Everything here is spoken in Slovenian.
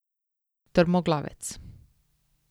Trmoglavec.